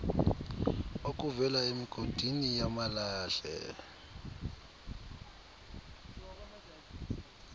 okuvela emigodini yamalahle